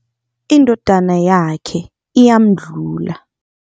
Indodana yakhe iyamdlula.